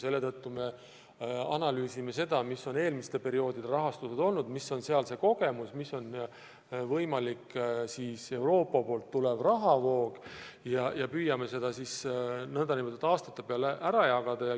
Seepärast on analüüsitud seda, milline on eelmiste perioodide rahastus olnud, millised on saadud kogemused, milline on võimalik Euroopa Liidust tulev rahavoog, ja püütud seda aastate peale ära jagada.